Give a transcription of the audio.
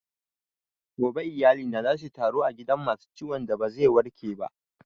Gobe iyalina za suyi taro a gidan masu ciwon da ba zai warke ba